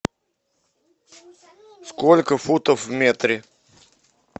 сколько футов в метре